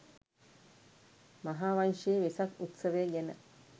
මහාවංශයේ වෙසක් උත්සවය ගැන